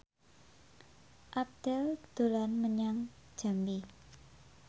Abdel dolan menyang Jambi